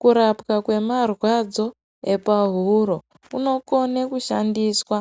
Kurapwa kwemarwadzo epahuro kunokone kushandiswa